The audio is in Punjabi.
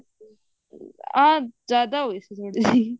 ਅਮ ਜਿਆਦਾ ਹੋਗੇ ਸੀ ਥੋੜੇ ਜੇ